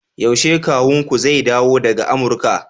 yaushe kawunku zai dawo daga Amurka